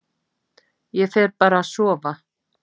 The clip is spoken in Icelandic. Ég fer bara að sofa